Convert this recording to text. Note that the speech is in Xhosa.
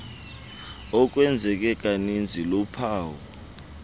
okwenzeke kaninzi luphawu